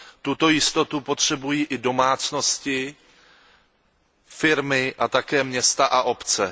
Tuto jistotu potřebují i domácnosti, firmy a také města a obce.